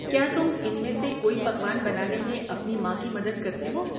کیا تم ان میں سے کوئی پکوان بنانے میں اپنی ماں کی مدد کرتےہو؟